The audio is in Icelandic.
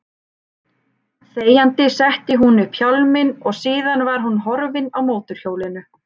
Þegjandi setti hún upp hjálminn og síðan var hún horfin á mótorhjólinu.